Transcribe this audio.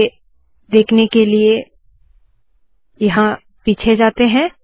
उसे देखने के लिए पीछे आते है